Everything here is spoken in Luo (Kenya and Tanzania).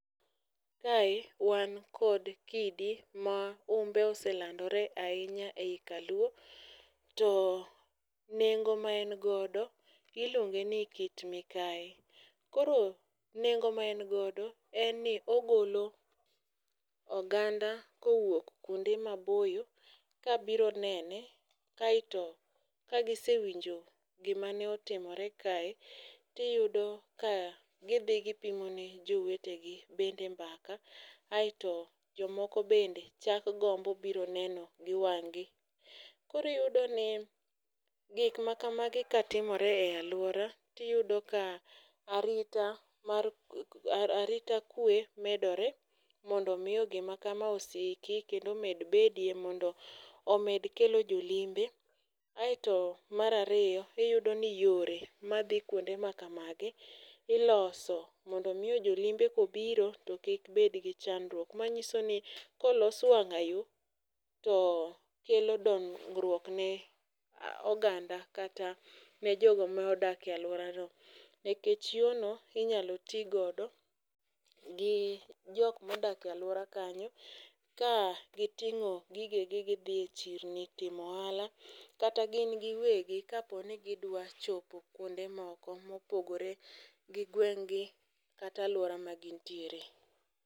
Kae, wan kod kidi ma humbe oselandore ahinya ei kaluo, to nengo ma en godo, iluonge ni kit mikai. Koro nengo ma en godo, en ni ogolo oganda kowuok kuonde maboyo kabiro nene, kae to ka gisewinjo gimane otimore kae, tiyudo ka gidhi gi pimone jowetegi bende mbaka. Aeto jomoko bende chak gombo biro neno gi wang'gi. Koro iyudo ni gikmakamagi ka timore e aluora, tiyudo ka arita mar, arita kwe medore, mondo miyo gima kama osiki kendo med bedie. Mondo omed kelo jolimbe. Aeto mar ariyo iyudo ni yore madhi kuonde makamagi, iloso mondo miyo jolimbe kobiro to kik bedgi chandruok. Manyiso ni kolos wang'ayo, to kelo dongruok ne oganda kata ne jogo ma odak e aluora no. Nikech yorno inyalo ti godo, gi jok modak e alwora kanyo, ka giting'o gigegi gidhi e chirni timo ohala, kata gin giwegi kapo ni gidwa chopo kuonde moko mopogore gigweng' gi kata alwora magintiere.